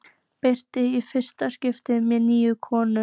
Berti mætir í fyrsta skipti með nýju konuna.